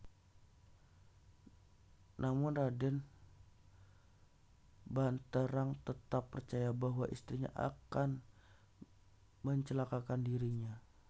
Namun Raden Banterang tetap percaya bahwa istrinya akan mencelakakan dirinya